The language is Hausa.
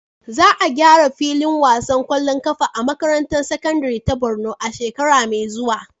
Za a gyara filin wasan ƙwallon ƙafa a makarantar sakandare ta Borno a shekara mai zuwa.